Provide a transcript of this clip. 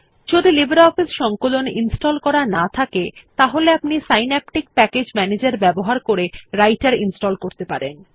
যদি আপনি লিব্রিঅফিস সংকলন ইনস্টল করা না থাকে তাহলে আপনি সিন্যাপটিক প্যাকেজ ম্যানেজের ব্যবহার করে রাইটের ইনস্টল করতে পারেন